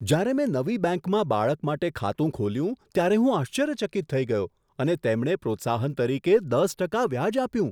જ્યારે મેં નવી બેંકમાં બાળક માટે ખાતું ખોલ્યું ત્યારે હું આશ્ચર્યચકિત થઈ ગયો અને તેમણે પ્રોત્સાહન તરીકે દસ ટકા વ્યાજ આપ્યું.